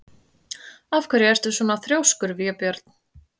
Af hverju ertu svona þrjóskur, Vébjörn?